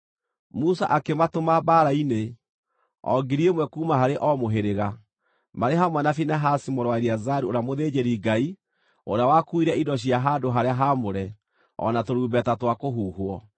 Musa akĩmatũma mbaara-inĩ, o 1,000 kuuma harĩ o mũhĩrĩga, marĩ hamwe na Finehasi mũrũ wa Eleazaru ũrĩa mũthĩnjĩri-Ngai, ũrĩa wakuuire indo cia handũ-harĩa-haamũre, o na tũrumbeta twa kũhuhwo.